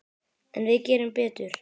En við gerum betur.